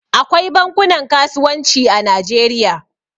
Akwai bankunan kasuwanci a Najeriya.